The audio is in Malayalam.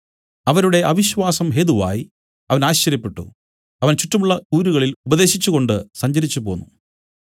അവരുടെ അവിശ്വാസം ഹേതുവായി അവൻ ആശ്ചര്യപ്പെട്ടു അവൻ ചുറ്റുമുള്ള ഊരുകളിൽ ഉപദേശിച്ചുകൊണ്ട് സഞ്ചരിച്ചുപോന്നു